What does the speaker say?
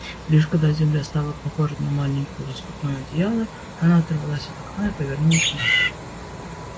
лишь когда земля стала похожа на маленькое лоскутное одеяло она оторвалась от окна и повернулась к матери